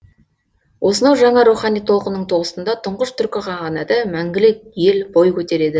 осынау жаңа рухани толқынның тоғысында тұңғыш түркі қағанаты мәңгілік ел бой көтереді